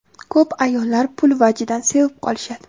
Ko‘p ayollar pul vajidan sevib qolishadi.